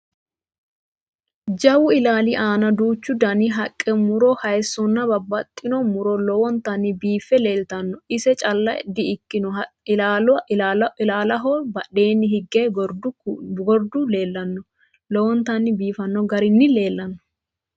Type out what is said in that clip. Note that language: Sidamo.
Jawu ilaali aana duuchu dani Haqqe, mu'ro haayissonna babbaxxitino mu'ro lowontanni biiffe leeltanno: Iso calla di ikkino ilaalaho badheenni hige gordu leellanno lowontanni biifanno garinni leellanno.